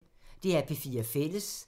DR P4 Fælles